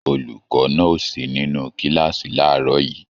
Olùkọ́ náà o sí nínú kíláàsì làárọ̀ yìí.